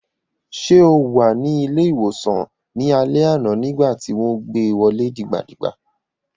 Ṣé o wà ní ilé-ìwòsàn ní alẹ́ àná nígbà tí wọ́n gbé wọlé dìgbà dìgbà?